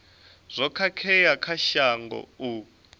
zwo khakhea kha shango u